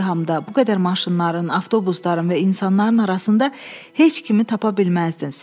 Bu izdihamda bu qədər maşınların, avtobusların və insanların arasında heç kimi tapa bilməzdiniz.